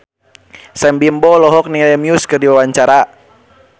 Sam Bimbo olohok ningali Muse keur diwawancara